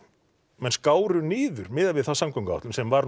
menn skáru niður miðað við þá samgönguáætlun sem var